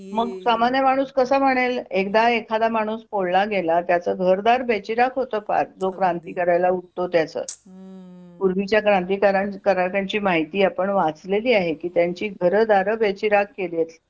मग सामान्य माणूस कसा म्हणेल एकदा एखादा माणूस पोळला गेला त्याचं घरदार बेचिराख होतो फार जो क्रांती करायला उडतो त्याच पूर्वीच्या क्रांती क्रांतिकारकांची माहिती आपण वाचलेली आहेत की त्यांचे घरदार बेचिराख केलेत